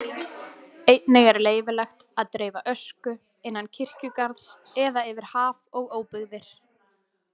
Einnig er leyfilegt að dreifa ösku innan kirkjugarðs eða yfir haf og óbyggðir.